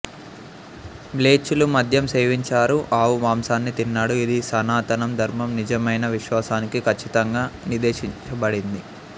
మ్లేచ్చులు మద్యం సేవించారు ఆవు మాంసాన్ని తిన్నాడు ఇది సనాతన ధర్మం నిజమైన విశ్వాసానికి ఖచ్చితంగా నిషేధించబడింది